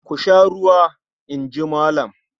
"Ku sha ruwa!" In ji Malam.